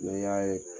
N'i y'a ye